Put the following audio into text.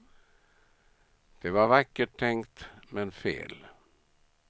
Det var vackert tänkt, men fel.